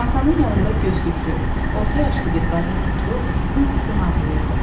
Masanın yanında gözlüklü, orta yaşlı bir qadın oturub xısın-xısın ağlayırdı.